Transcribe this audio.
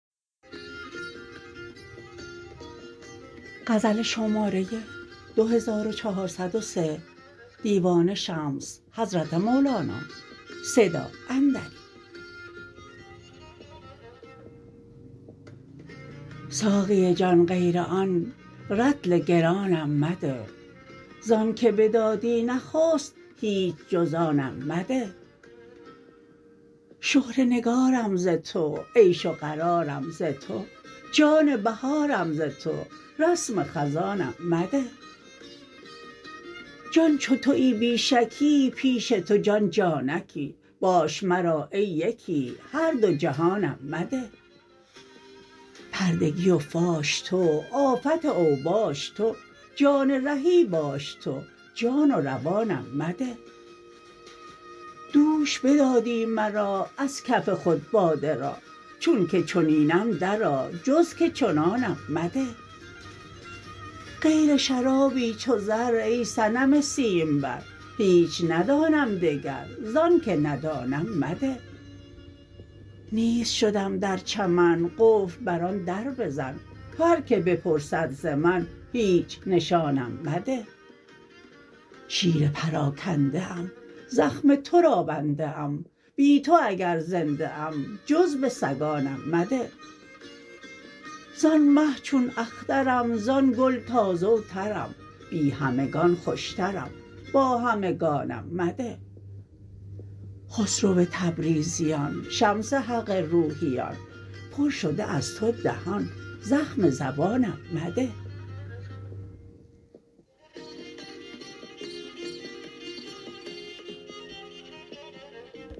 ساقی جان غیر آن رطل گرانم مده ز آنک بدادی نخست هیچ جز آنم مده شهره نگارم ز تو عیش و قرارم ز تو جان بهارم ز تو رسم خزانم مده جان چو توی بی شکی پیش تو جان جانکی باش مرا ای یکی هر دو جهانم مده پردگی و فاش تو آفت او باش تو جان رهی باش تو جان و روانم مده دوش بدادی مرا از کف خود باده را چون که چنینم درآ جز که چنانم مده غیر شرابی چو زر ای صنم سیمبر هیچ ندانم دگر ز آنک ندانم مده نیست شدم در چمن قفل بر آن در بزن هر کی بپرسد ز من هیچ نشانم مده شیر پراکنده ام زخم تو را بنده ام بی تو اگر زنده ام جز به سگانم مده زان مه چون اخترم زان گل تازه و ترم بی همگان خوشترم با همگانم مده خسرو تبریزیان شمس حق روحیان پر شده از تو دهان زخم زبانم مده